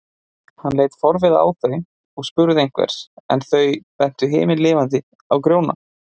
Hann leit forviða á þau og spurði einhvers, en þau bentu himinlifandi á Grjóna.